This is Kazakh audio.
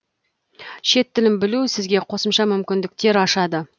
шет тілін білу сізге қосымша мүмкіндіктер ашады